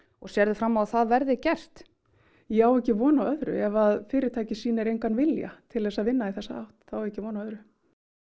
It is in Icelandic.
og sérðu fram á að það verði gert ég á ekki von á öðru ef fyrirtækið sýnir engan vilja til að vinna í þessa átt þá á ég ekki von á öðru